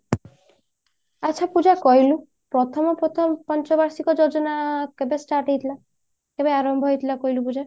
ଆଛା ପୂଜା କହିଲୁ ପ୍ରଥମ ପ୍ରଥମ ପଞ୍ଚ ବାର୍ଷିକ ଯୋଜନା କେବେ start ହେଇଥିଲା କେବେ ଆରମ୍ଭ ହେଇଥିଲା କହିଲୁ ପୂଜା